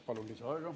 Palun lisaaega!